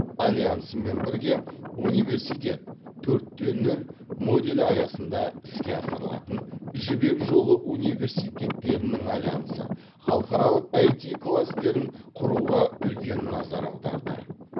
альянсымен бірге университет төрт те нөл моделі аясында іске асырылатын жібек жолы университеттерінің альянсы халықаралық аити кластерін құруға үлкен назар аударды